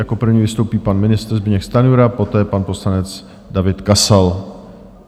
Jako první vystoupí pan ministr Zbyněk Stanjura, poté pan poslanec David Kasal.